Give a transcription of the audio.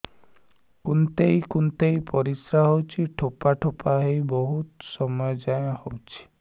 କୁନ୍ଥେଇ କୁନ୍ଥେଇ ପରିଶ୍ରା ହଉଛି ଠୋପା ଠୋପା ହେଇ ବହୁତ ସମୟ ଯାଏ ହଉଛି